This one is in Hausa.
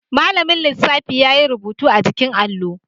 Mallamin lissafi yayi rubutu a jikin allo